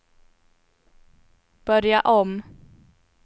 börja om